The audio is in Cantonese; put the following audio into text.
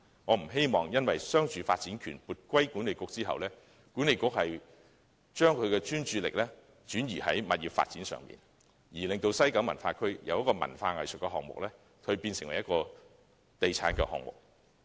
我不希望商住發展權撥歸西九管理局後，西九管理局會將其專注力轉移至物業發展上，令西九文化區由文化藝術項目變為地產項目。